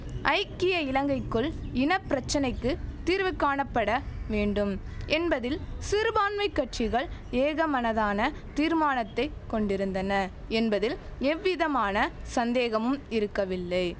ஐக்கிய இலங்கைக்குள் இன பிரச்சனைக்கு தீர்வு காணப்பட வேண்டும் என்பதில் சிறுபான்மை கட்சிகள் ஏகமனதான தீர்மானத்தை கொண்டிருந்தன என்பதில் எவ்விதமான சந்தேகமும் இருக்கவில்லை